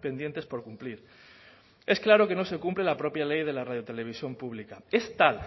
pendientes por cumplir es claro que no se cumple la propia ley de la radiotelevisión pública es tal